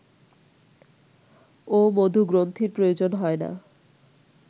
ও মধুগ্রন্থির প্রয়োজন হয় না